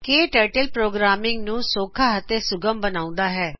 ਕੇ turtle programming ਨੂੰ ਸੌਖਾ ਅਤੇ ਸੁਗਮ ਬਣਾਉਂਦਾ ਹੈ